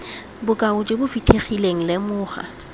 bokao jo bo fitlhegileng lemoga